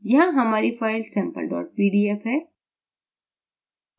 यहाँ हमारी file sample pdf है